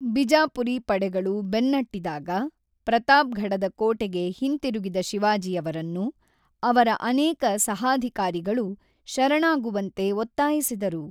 ಬಿಜಾಪುರಿ ಪಡೆಗಳು ಬೆನ್ನಟ್ಟಿದಾಗ ಪ್ರತಾಪ್ಗಢದ ಕೋಟೆಗೆ ಹಿಂತಿರುಗಿದ ಶಿವಾಜಿಯವರನ್ನು, ಅವರ ಅನೇಕ ಸಹಾಧಿಕಾರಿಗಳು ಶರಣಾಗುವಂತೆ ಒತ್ತಾಯಿಸಿದರು.